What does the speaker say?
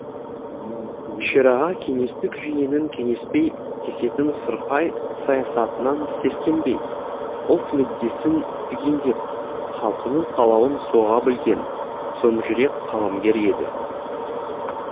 шераға кеңестік жүйенің кеңеспей кесетін сұрқай саясатынан сескенбей ұлт мүддесін түгендеп халқының қалауын соға білген сомжүрек қаламгер еді